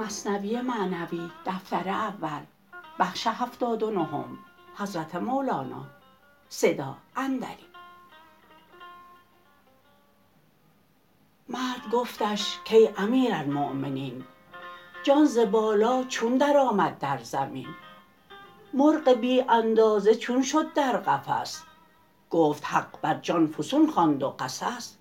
مرد گفتش کای امیرالمؤمنین جان ز بالا چون در آمد در زمین مرغ بی اندازه چون شد در قفس گفت حق بر جان فسون خواند و قصص